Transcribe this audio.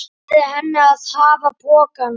Leyfði henni að hafa pokann.